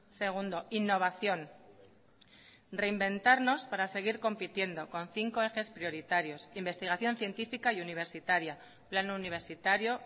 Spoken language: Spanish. segundo innovación reinventarnos para seguir compitiendo con cinco ejes prioritarios investigación científica y universitaria plan universitario